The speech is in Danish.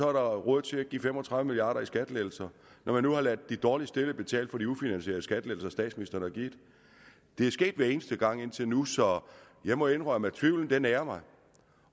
er der råd til at give fem og tredive milliard kroner i skattelettelser når man nu har ladet de dårligst stillede betale for de ufinansierede skattelettelser som statsministeren har givet det er sket hver eneste gang indtil nu så jeg må indrømme at tvivlen nager mig